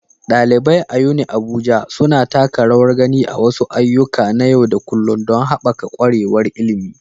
ɗalibai a UniAbuja suna taka rawar gani a wasu ayyuka na yau da kullun don haɓaka ƙwarewar ilimi.